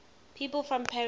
people from paris